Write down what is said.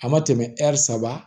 A ma tɛmɛ hɛri saba